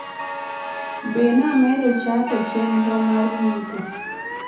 be namedo chake chenromar nyiepo